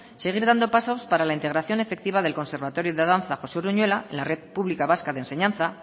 seguir dando pasos para la integración efectiva del conservatorio de danza josé uruñuela en la red pública vasca de enseñanza